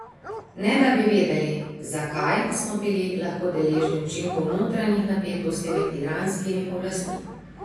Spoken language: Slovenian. Ne da bi vedeli, zakaj, smo bili lahko deležni učinkov notranjih napetosti med iranskimi oblastmi.